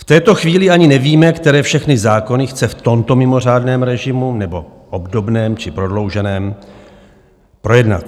V této chvíli ani nevíme, které všechny zákony chce v tomto mimořádném režimu, nebo obdobném či prodlouženém, projednat.